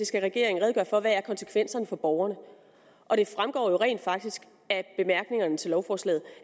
skal regeringen redegøre for hvad konsekvenserne for borgerne er det fremgår rent faktisk af bemærkningerne til lovforslaget